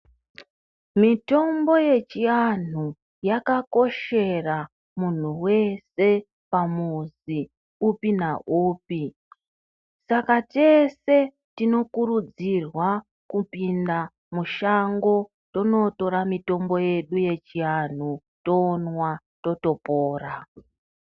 Mitombo yechianhu yakakoshera munhu wese pamuzi upi naupi, saka tese tinokurudzirwa kupinda mushango, tonotora mitombo yedu yechianhu tonwa totopora.